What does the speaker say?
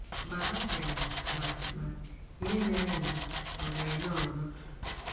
Ma ha chere ma ma ihe mere mbụ ọ̀ ga - eme ọzọ.